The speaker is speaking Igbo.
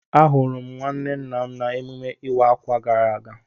Ahụrụ m nwanne nna m n'emume ịwa ákwà gara aga